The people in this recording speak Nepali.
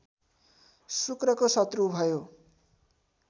शुक्रको शत्रु भयो